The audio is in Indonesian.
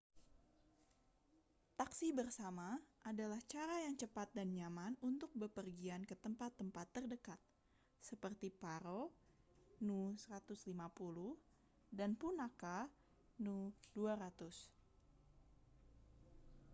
taksi bersama adalah cara yang cepat dan nyaman untuk bepergian ke tempat-tempat terdekat seperti paro nu 150 dan punakha nu 200